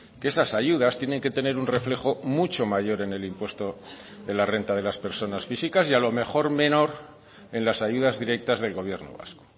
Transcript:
que esas ayudas tienen que tener un reflejo mucho mayor en el impuesto de la renta de las personas físicas y a lo mejor menor en las ayudas directas del gobierno vasco